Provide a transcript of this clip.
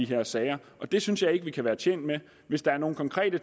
her sager og det synes jeg ikke vi kan være tjent med hvis der er nogle konkrete